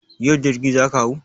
Yau jirgi za ka hau?